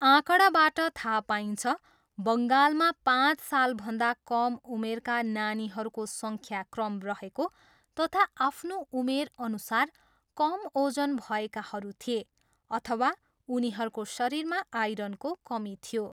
आँकडाबाट थाहा पाइन्छ, बङ्गालमा पाँच सालभन्दा कम उमेरका नानीहरूको सङ्ख्याक्रम रहेको तथा आफ्नो उमेरअनुसार कम ओजन भएकाहरू थिए अथवा उनीहरूको शरीरमा आइरनको कमी थियो।